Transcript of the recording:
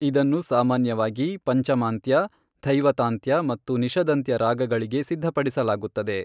ಇದನ್ನು ಸಾಮಾನ್ಯವಾಗಿ ಪಂಚಮಾಂತ್ಯ, ಧೈವತಾಂತ್ಯ ಮತ್ತು ನಿಷದಂತ್ಯ ರಾಗಗಳಿಗೆ ಸಿದ್ಧಪಡಿಸಲಾಗುತ್ತದೆ.